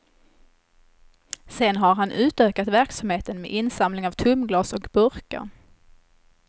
Sen har han utökat verksamheten med insamling av tomglas och burkar.